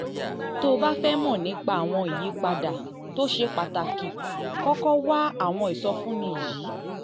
tó o bá fẹ́ mọ̀ nípa àwọn ìyípadà um tó ṣe pàtàkì kọ́kọ́ wá àwọn ìsọfúnni yìí